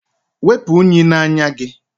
Wepu unyi n'anya gị!